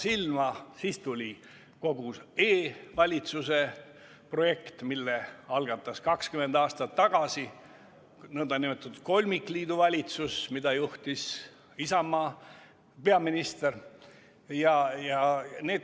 Siis tuli kogu e-valitsuse projekt, mille algatas 20 aastat tagasi nn kolmikliidu valitsus, mida juhtis Isamaa peaminister.